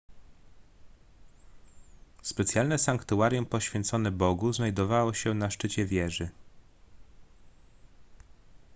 specjalne sanktuarium poświęcone bogu znajdowało się na szczycie wieży